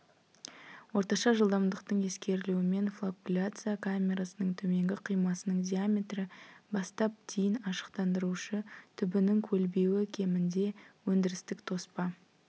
орташа жылдамдықтың ескерілуімен флокуляция камерасының төменгі қимасының диаметрі бастап дейін ашықтандырушы түбінің көлбеуі кемінде өндірістік тоспа